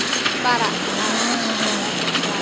Bara er ekkert svar.